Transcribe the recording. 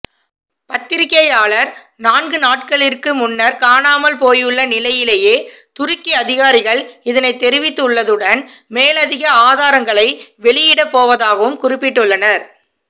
பத்திரிகையாளர் நான்குநாட்களிற்கு முன்னர் காணாமல்போயுள்ள நிலையிலேயே துருக்கி அதிகாரிகள் இதனை தெரிவித்துள்ளதுடன் மேலதிக ஆதாரங்களை வெளியிடப்போவதாகவும் குறிப்பிட்டுள்ளனர்